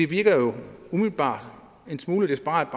virker jo umiddelbart en smule desperat